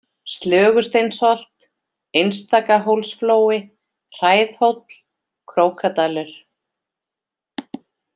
Slögusteinsholt, Einstakahólsflói, Hræðhóll, Krókadalur